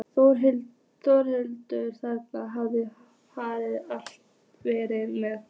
Þórhildur: Þannig þið hafið alltaf verið með?